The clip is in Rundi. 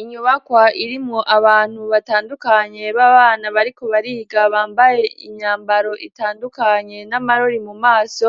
Inyubakwa irimwo abantu batandukanye b'abana bariko bariga bambaye imyambaro itandukanye n'amarori mumaso,